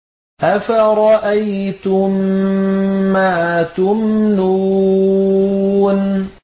أَفَرَأَيْتُم مَّا تُمْنُونَ